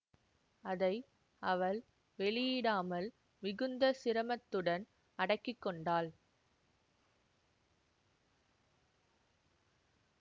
அதை அவள் வெளியிடாமல் மிகுந்த சிரமத்துடன் அடக்கி கொண்டாள்